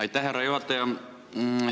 Aitäh, härra juhataja!